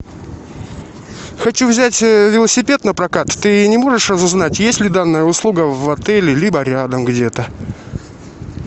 хочу взять велосипед напрокат ты не можешь разузнать есть ли данная услуга в отеле либо рядом где то